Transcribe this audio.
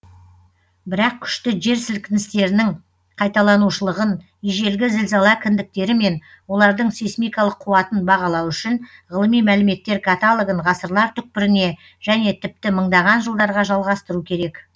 бірақ күшті жер сілкіністерінің қайталанушылығын ежелгі зілзала кіндіктері мен олардың сейсмикалық қуатын бағалау үшін ғылыми мәліметтер каталогын ғасырлар түкпіріне және тіпті мыңдаған жылдарға жалғастыру керек